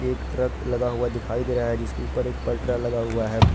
एक ट्रक लगा हुआ दिखाई दे रहा है जिसके ऊपर एक पटरा लगा हुआ है।